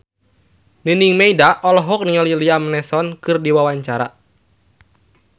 Nining Meida olohok ningali Liam Neeson keur diwawancara